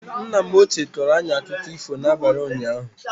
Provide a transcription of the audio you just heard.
Nna m ochie kọrọ anyị akụkọ ifo n'abalị unyaahu